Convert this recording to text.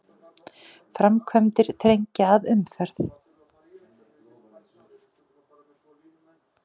Framkvæmdir þrengja að umferð